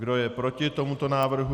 Kdo je proti tomuto návrhu?